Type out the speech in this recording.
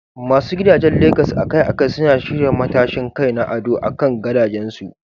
Masu gidajen Legas akai-akai suna shirya matashin kai na ado akan gadajensu.